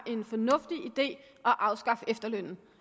er en fornuftig idé at afskaffe efterlønnen